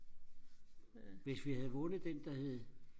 hvis vi havde vundet den der hed